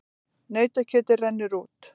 Nautakjötið rennur út